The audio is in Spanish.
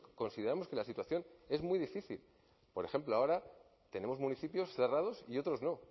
consideramos que la situación es muy difícil por ejemplo ahora tenemos municipios cerrados y otros no